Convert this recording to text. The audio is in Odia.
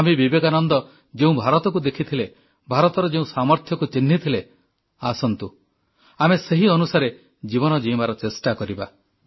ସ୍ୱାମୀ ବିବେକାନନ୍ଦ ଯେଉଁ ଭାରତକୁ ଦେଖିଥିଲେ ଭାରତର ଯେଉଁ ସାମର୍ଥ୍ୟକୁ ଚିହ୍ନିଥିଲେ ଆସନ୍ତୁ ଆମେ ସେହି ଅନୁସାରେ ଜୀବନ ଜୀଇଁବାର ଚେଷ୍ଟା କରିବା